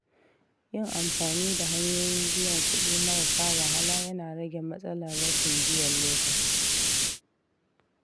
Yin amfani da hanyoyin biyan kuɗi marasa wahala yana rage matsalar rashin biyan lokaci.